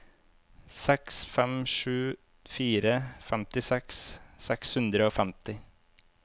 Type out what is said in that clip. seks fem sju fire femtiseks seks hundre og femti